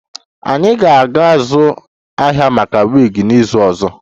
Anyị ga-azụ ahịa maka wigs n'izu ọzọ